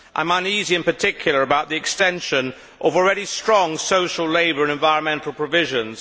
I am uneasy, in particular, about the extension of already strong social, labour and environmental provisions.